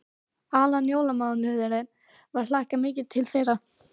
Allan jólamánuðinn var hlakkað mikið til þeirra.